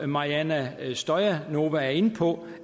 mariana stoyanova er inde på